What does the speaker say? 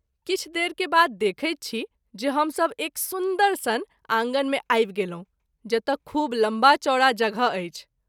किछु देर के बाद देखै छी जे हम सभ एक सुन्दर सन आँगन मे आबि गेलहुँ जतय खूब लम्बा चौरा जगह अछि।